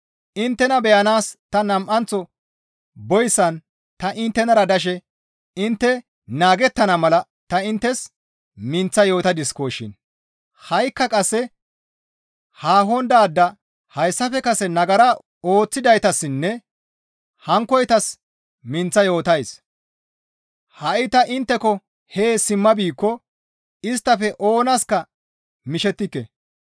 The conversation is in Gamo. Inttena beyanaas ta nam7anththo boyssan ta inttenara dashe intte naagettana mala ta inttes minththa yootadiskoshin; ha7ikka qasse haahon daada hayssafe kase nagara ooththidaytassinne hankkoytas minththa yootays; ha7i ta intteko hee simma biikko isttafe oonaska mishettike.